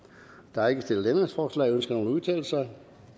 der er ikke stillet ændringsforslag ønsker nogen at udtale sig